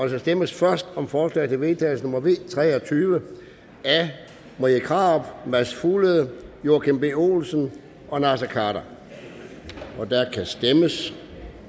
der stemmes først om forslag til vedtagelse nummer v tre og tyve af marie krarup mads fuglede joachim b olsen og naser khader og der kan stemmes